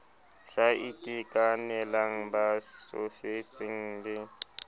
sa itekanelang ba tsofetseng le